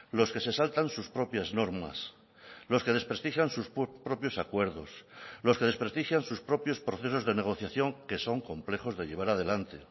los que se saltan sus propias normas los que desprestigian sus propios acuerdos los que desprestigian sus propios procesos de negociación que son complejos de llevar adelante